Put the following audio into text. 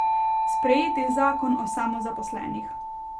Sprejeti zakon o samozaposlenih.